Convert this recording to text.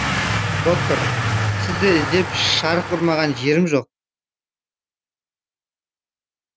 доктор мен сізді іздеп шарқ ұрмаған жерім жоқ